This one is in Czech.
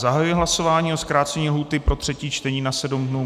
Zahajuji hlasování o zkrácení lhůty pro třetí čtení na sedm dnů.